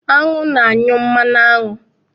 Aṅụ na-anyụ mmanụ aṅụ.